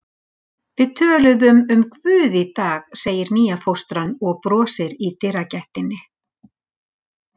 Við töluðum um Guð í dag, segir nýja fóstran og brosir í dyragættinni.